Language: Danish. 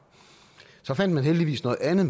så fandt man heldigvis noget andet